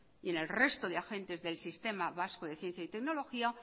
y en el resto de agentes del sistema vasco de ciencia y tecnología